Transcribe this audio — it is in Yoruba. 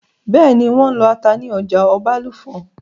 Bẹ́ẹ̀nì, wọ́n n lọ ata ní ọjà Ọbàlùfọ̀n